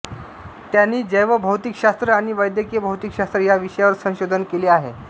त्यांनी जैवभौतिकशास्त्र आणि वैद्यकीय भौतिकशास्त्र या विषयांवर संशोधनकेले आहे